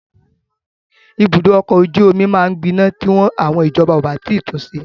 Ibùdó ọkọ ojú omi máa gbiná ti wọ́n ìjọba ò bá tun ṣe.